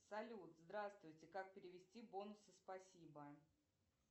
салют здравствуйте как перевести бонусы спасибо